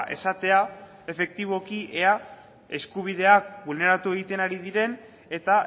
esatea efektiboki ea eskubideak bulneratu egiten ari diren eta